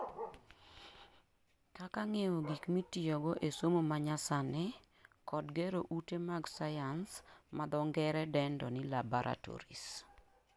Kaka ng'iewo gik mitiyogo e somo manyasani kod gero ute mag science ma dho ngere dendo ni laboratories